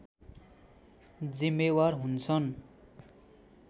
जिम्मेवार हुन्छन्